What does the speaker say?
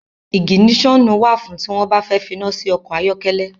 Iginiṣonu wá fún ti wọn bà fẹ finasi ọkọ ayọkẹlẹ